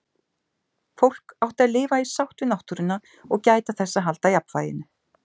Fólk átti að lifa í sátt við náttúruna og gæta þess að halda jafnvæginu.